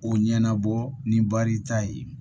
O ɲɛnabɔ ni barita ye